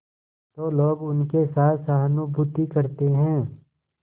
तो लोग उनके साथ सहानुभूति करते हैं